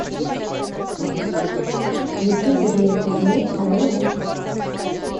включи владимир кузьмин моя любовь